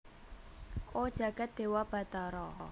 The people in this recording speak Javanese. O jagat dewa batara